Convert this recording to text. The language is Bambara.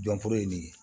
Jɔnforo ye nin ye